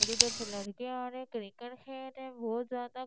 ओर उधर से लडके आ रहे क्रिकेट खेले बहुत ज्यादा--